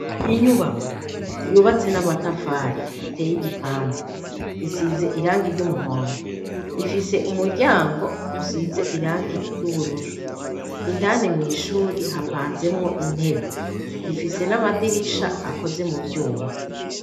Inyubako yubatse n'amatafari iteye igipande; isize irangi ry'umuhondo . Ifise umuryango usize irangi ry'ubururu. Indani mw' ishuri hapanzemwo intebe. Rifise n'amadirisha akoze mu vyuma.